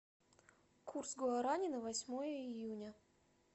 курс гуарани на восьмое июня